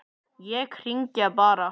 Ég hringi bara.